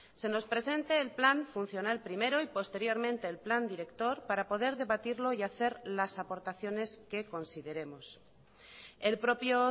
se nos presente el plan funcional primero y posteriormente el plan director para poder debatirlo y hacer las aportaciones que consideremos el propio